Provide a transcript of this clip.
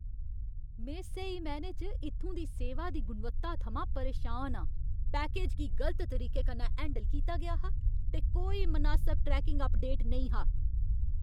में स्हेई मैह्नें च इत्थूं दी सेवा दी गुणवत्ता थमां परेशान आं। पैकेज गी गलत तरीके कन्नै हैंडल कीता गेआ हा, ते कोई मनासब ट्रैकिंग अपडेट नेईं हा!